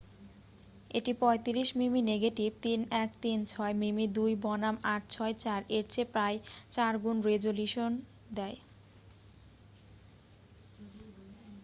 এটি 35 মিমি নেগেটিভ 3136 মিমি2 বনাম 864 এর চেয়ে প্রায় 4 গুণ রেজোলিউশন দেয়।